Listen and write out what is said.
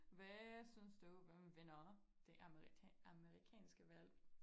Hvad synes du hvem vinder det amerikanske valg?